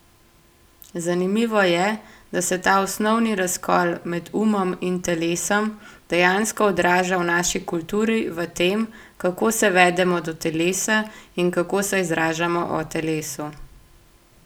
Zanimivo je, da se ta osnovni razkol med umom in telesom dejansko odraža v naši kulturi v tem, kako se vedemo do telesa in kako se izražamo o telesu.